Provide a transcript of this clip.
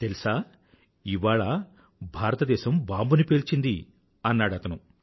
తెల్సా ఇవాళ భారతదేశం బాంబుని పేల్చింది అన్నాడతను